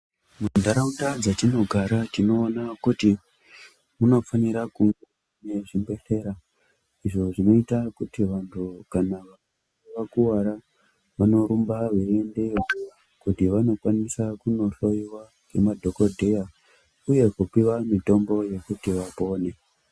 Muntaraunda dzatinogara tinoona kuti munofanira kuve nezvibhedhlera izvo zvinoita kuti vantu kana vakuwara vanorumba veiendayo kuti vanokwanisa kunohlowiwa ngemadhokodheya uye kupiwa mitombo yekuti vapone.